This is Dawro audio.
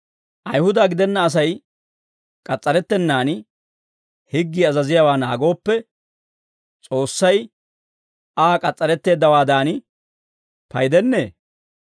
Ayihuda gidenna Asay k'as's'arettennan higgii azaziyaawaa naagooppe, S'oossay Aa k'as's'aretteeddawaadan paydennee?